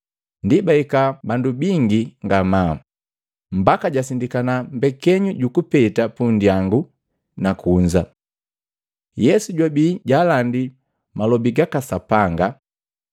Ndi bahika bandu bingi ngamaa, mbaki jasindikana mbekenyu jukupeta pundyangu na kunza. Yesu jwabii jaalandi malobi gaka Sapanga.